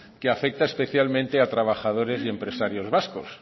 que afecta especialmente a trabajadores y empresarios vascos